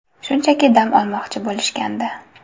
Shunchaki dam olmoqchi bo‘lishgandi.